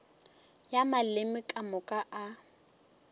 ya maleme ka moka a